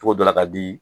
Togo dɔ la ka di